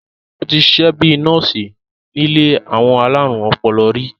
ó ti sisẹ́ bíi nọ́ọ̀sì nílé àwọn alárùn ọpọlọ rí